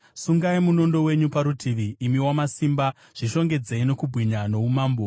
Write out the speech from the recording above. Sungai munondo wenyu parutivi, imi wamasimba, zvishongedzei nokubwinya noumambo.